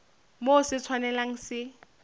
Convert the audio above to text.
moo se sa tshwanelang se